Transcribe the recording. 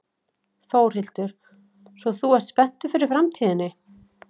Þórhildur: Svo þú ert spenntur fyrir framtíðinni?